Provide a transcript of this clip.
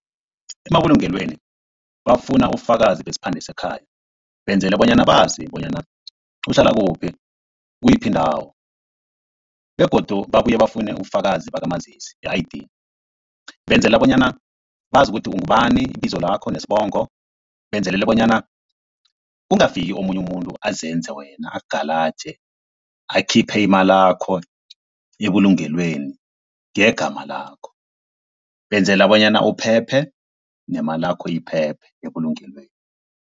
Emabulungelweni bafuna ubufakazi besiphande sekhaya, benzela bonyana bazi bonyana uhlala kuphi kiyiphi indawo. Begodu babuye bafune ubufakazi bakamazisi i-I_D, benzela bonyana bazi ukuthi ungubani ibizo lakho nesibongo, benzelele bonyana kungafiki omunye umuntu azenze wena akugalaje akhiphe imalakho ebulungelweni ngegama lakho. Benzela bonyana uphephe, nemalakho iphephe ebulungelweni.